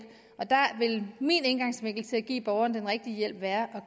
og der vil min indgangsvinkel til at give borgerne den rigtige hjælp være at